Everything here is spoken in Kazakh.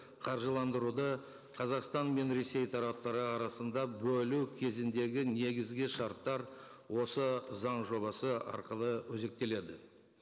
қаржыландыруды қазақстан мен ресей тараптары арасында бөлу кезіндегі негізгі шарттар осы заң жобасы арқылы өзектеледі